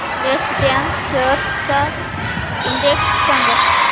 yes Bank shares चा index सांगा